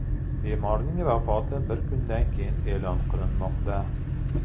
Bemorning vafoti bir kundan keyin e’lon qilinmoqda.